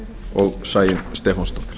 og sæunn stefánsdóttir